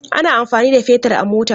Ana amfani da fetir a mota.